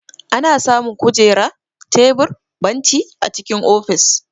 Ana samu Kujera, tebur, benci a cikin ofis.